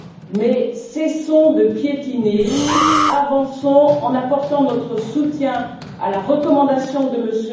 Mais cessons de piétiner, avançons en apportant notre soutien à la recommandation de M.